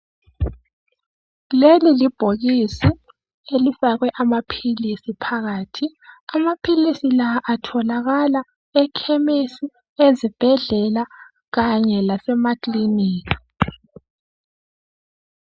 Leli libhokisi elifakwe amaphilisi phakathi. Amaphilisi la atholakala ekhemesi ezibhedlela kanye lasemakilika.